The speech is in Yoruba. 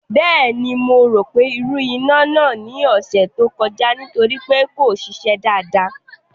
Bẹ́ẹ̀ni mo rọ́pò ìrù iná náà ní ọ̀sẹ̀ tó kọjá nítorí pé kò ṣiṣẹ́ dáadáa